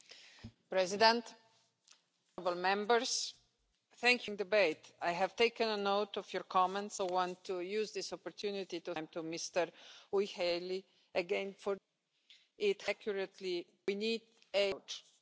this topic. I hope they will be as invigorating as today's debate, and I count on your continued support. Together I am sure we can make a real and urgently needed difference.